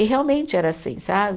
E realmente era assim, sabe?